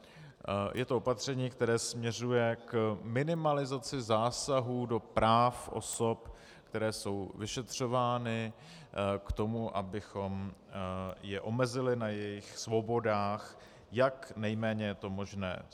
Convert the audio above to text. Je to opatření, které směřuje k minimalizaci zásahů do práv osob, které jsou vyšetřovány, k tomu, abychom je omezili na jejich svobodách, jak nejméně je to možné.